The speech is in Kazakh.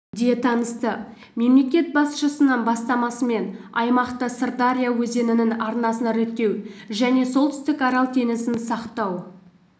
де танысты мемлекет басшысының бастамасымен аймақта сырдария өзенінің арнасын реттеу және солтүстік арал теңізін сақтау